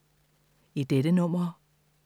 I dette nummer